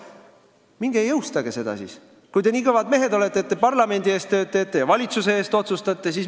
Minge ja jõustage see siis, kui te nii kõvad mehed olete, et parlamendi eest tööd teete ja valitsuse eest otsustate!